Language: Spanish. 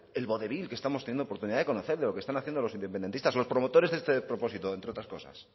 el vodevil que estamos teniendo la oportunidad de conocer de lo que están haciendo los independentistas los promotores de este despropósito entre otras cosas